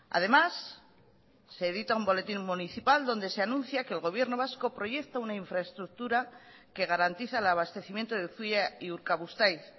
además se edita un boletín municipal donde se anuncia que el gobierno vasco proyecta una infraestructura que garantiza el abastecimiento de zuia y urkabustaiz